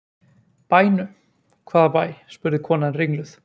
Bænum, hvaða bæ? spurði konan ringluð.